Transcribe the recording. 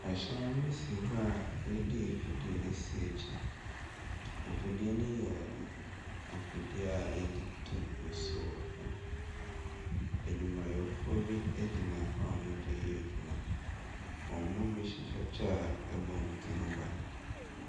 ℇhyɛn bi si hɔ a yɛde afidie asi akyire. Afidie no yɛ afidie a yɛde tu nsuo. Adwumayɛfoɔ bi gyina hɔ a wɔde reyɛ adwuma. Wɔn mu bi hyehyɛ kyɛ a ɛbɔ wɔn tiri ho ban.